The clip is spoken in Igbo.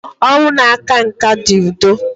ọnwụ na-aka nká dị udo.